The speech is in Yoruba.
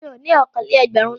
Mo ní okòó-lé-ẹgbẹ̀rún náírà.